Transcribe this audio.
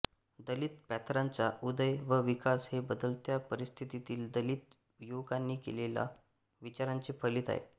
दलित पॅंथराचा उदय व विकास हे बदलत्या परिस्थितीतील दलित युवकांनी केलेल्या विचारांचे फलित आहे